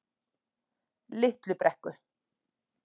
Litlu Brekku